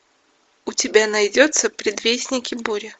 у тебя найдется предвестники бури